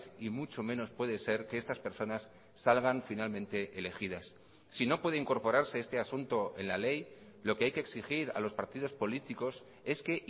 y mucho menos puede ser que estas personas salgan finalmente elegidas si no puede incorporarse este asunto en la ley lo que hay que exigir a los partidos políticos es que